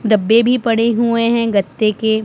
डब्बे भी पड़े हुए गत्ते के--